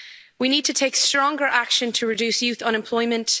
We need to take stronger action to reduce youth unemployment